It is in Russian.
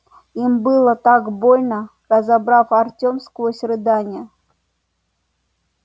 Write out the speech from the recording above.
им было так больно разобрал артём сквозь рыдания